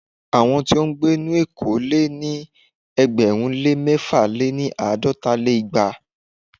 Àwọn tí ó ń gbé nínú éko lé ní ẹgbẹ̀rún lé mẹ̀fà- lé-ní- àádọ́ta lé igba.